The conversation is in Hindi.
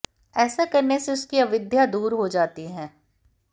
ऐसा करने से उसकी अविद्या दूर हो जाती है